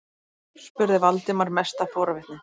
spurði Valdimar, mest af forvitni.